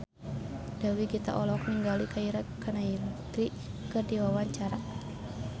Dewi Gita olohok ningali Keira Knightley keur diwawancara